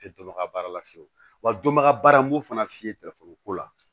Tɛ dɔnbaga la fiyewu wa dɔnbaga baara n b'o fana f'i ye telefɔniko la